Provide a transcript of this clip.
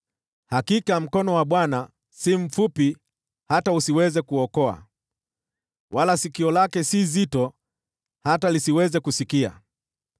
Hakika mkono wa Bwana si mfupi hata usiweze kuokoa, wala sikio lake si zito hata lisiweze kusikia.